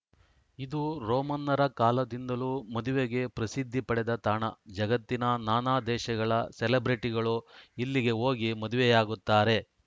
ಇದು ರೋಮನ್ನರ ಕಾಲದಿಂದಲೂ ಮದುವೆಗೆ ಪ್ರಸಿದ್ಧಿ ಪಡೆದ ತಾಣ ಜಗತ್ತಿನ ನಾನಾ ದೇಶಗಳ ಸೆಲೆಬ್ರಿಟಿಗಳು ಇಲ್ಲಿಗೆ ಹೋಗಿ ಮದುವೆಯಾಗುತ್ತಾರೆ